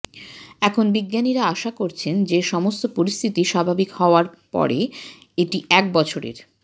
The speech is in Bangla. এখন বিজ্ঞানীরা আশা করছেন যে সমস্ত পরিস্থিতি স্বাভাবিক হওয়ার পরে এটি এক বছরের